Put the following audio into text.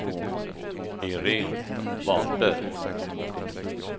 Iréne Wahlberg